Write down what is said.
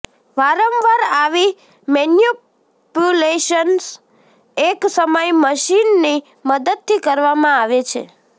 વારંવાર આવી મેનિપ્યુલેશન્સ એક સમય મશીનની મદદથી કરવામાં આવે છે